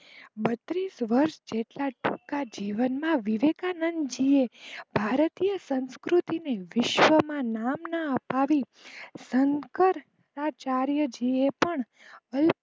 બત્રીશ વર્ષ જેટલા ટૂંકા જીવનમાં વિવેકાનંદજી એ ભારતીય સંસ્કૃતિને વિશ્વમાં નામના અપાવી શંકરાચાર્યજીએ પણ